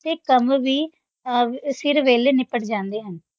ਤੇ ਕੰਮ ਵੀ ਅਹ ਸਿਰ ਵੇਲੇ ਨਿਪਟ ਜਾਂਦੇ ਹਨ।